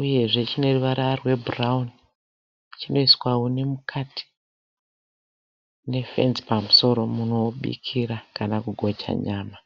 uyezve chineruvara rwe bhurauni. Chinoiswa huni mukati ne fenzi pamusoro munhu obikira kana kugocha nyama.